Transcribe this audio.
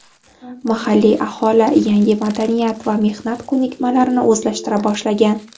Mahalliy aholi yangi madaniyat va mehnat ko‘nikmalarini o‘zlashtira boshlagan.